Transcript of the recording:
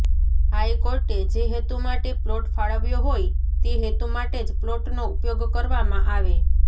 હાઇકોર્ટે જે હેતુ માટે પ્લોટ ફાળવ્યો હોય તે હેતુ માટે જ પ્લોટનો ઉપયોગ કરવામાં આવે